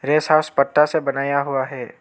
Guest house पत्ता से बनाया हुआ है।